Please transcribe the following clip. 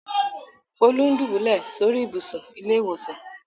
Folú ń dùbúlẹ̀ sórí ibùsùn ilé-ìwòsàn.